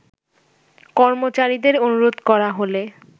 কর্মচারীদের অনুরোধ করা হলে